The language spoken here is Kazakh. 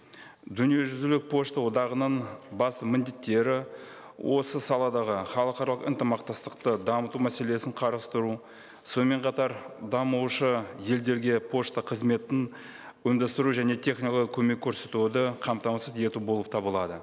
дүниежүзілік пошта одағының бас міндеттері осы саладағы халықаралық ынтымақтастықты дамыту мәселесін қарастыру сонымен қатар дамушы елдерге пошта қызметін ұйымдастыру және технологиялық көмек көрсетуді қамтамасыз ету болып табылады